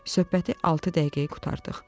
Söhbəti altı dəqiqəyə qurtardıq.